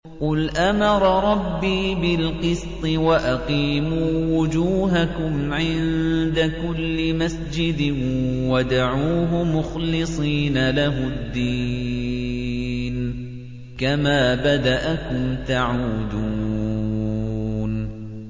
قُلْ أَمَرَ رَبِّي بِالْقِسْطِ ۖ وَأَقِيمُوا وُجُوهَكُمْ عِندَ كُلِّ مَسْجِدٍ وَادْعُوهُ مُخْلِصِينَ لَهُ الدِّينَ ۚ كَمَا بَدَأَكُمْ تَعُودُونَ